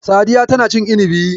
Sadiya tana cin inibi.